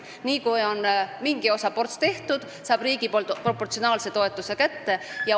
Nii kui on mingi osa tehtud, saab ta riigilt proportsionaalse toetuse kätte.